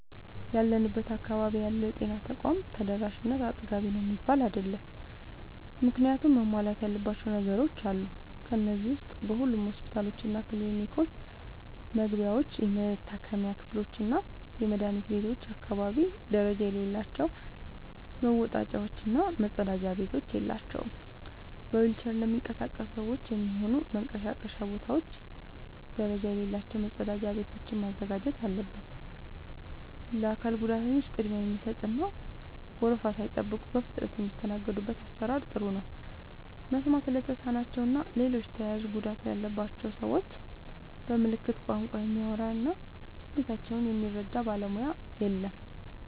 ያለንበት አካባቢ ያለው የጤና ተቋም ተደራሽነት አጥጋቢ ነው የሚባል አይደለም። ምክንያቱም ብዙ መሟላት ያለባቸው ነገሮች አሉ። ከነዚህ ዉስጥ በሁሉም ሆስፒታሎችና ክሊኒኮች መግቢያዎች፣ የመታከሚያ ክፍሎችና የመድኃኒት ቤቶች አካባቢ ደረጃ የሌላቸው መወጣጫዎች እና መጸዳጃ ቤቶች የላቸውም። በዊልቸር ለሚንቀሳቀሱ ሰዎች የሚሆኑ መንቀሳቀሻ ቦታዎች ደረጃ የሌላቸው መጸዳጃ ቤቶችን ማዘጋጀት አለበት። ለአካል ጉዳተኞች ቅድሚያ የሚሰጥ እና ወረፋ ሳይጠብቁ በፍጥነት የሚስተናገዱበት አሰራር ጥሩ ነው። መስማት ለተሳናቸው እና ሌሎች ተያያዥ ጉዳት ያለባቸውን ሰዎች በምልክት ቋንቋ የሚያወራ እና ስሜታቸውን የሚረዳ ባለሙያ የለም።